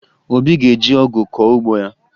Obi ga-eji ọgụ kọọ ugbo ya